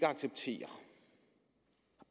acceptere